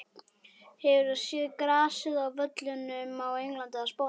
Hefur þú séð grasið á völlum á Englandi eða Spáni?